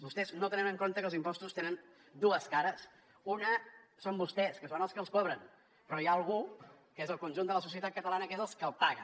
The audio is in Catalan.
vostès no tenen en compte que els impostos tenen dues cares una són vostès que són els que els cobren però hi ha algú que és el conjunt de la societat catalana que és el que els paga